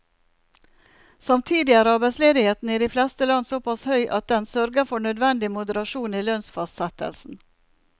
Samtidig er arbeidsledigheten i de fleste land såpass høy at den sørger for nødvendig moderasjon i lønnsfastsettelsen.